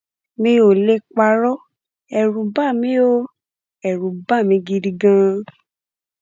mi ò lè parọ ẹrù bà mí ó ẹrù bà mí gidi ganan